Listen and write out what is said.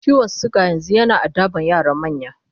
ciwon suga yanzun yana addaban yara da manya